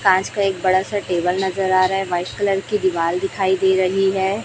कांच का एक बड़ा सा टेबल नजर आ रहा है वाइट कलर की दीवाल दिखाई दे रही है।